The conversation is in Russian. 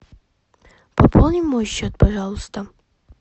пополни мой счет пожалуйста